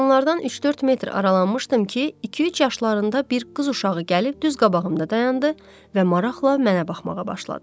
Qadınlardan üç-dörd metr aralanmışdım ki, iki-üç yaşlarında bir qız uşağı gəlib düz qabağımda dayandı və maraqla mənə baxmağa başladı.